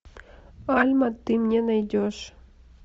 пальма ты мне найдешь